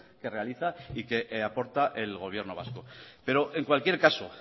que realiza y que aporta el gobierno vasco pero en cualquier caso